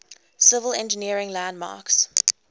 civil engineering landmarks